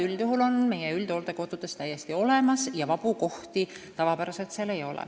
Üldjuhul on meie üldhooldekodudes järjekorrad ja vabu kohti seal tavapäraselt eriti ei ole.